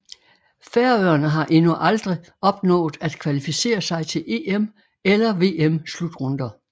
Færøerne har endnu aldrig opnået at kvalificere sig til EM eller VM slutrunder